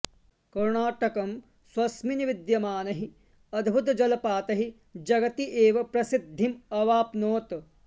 कर्णाटकं स्वस्मिन् विद्यमानैः अद्भुतजलपातैः जगति एव प्रसिद्धिम् अवाप्नोत्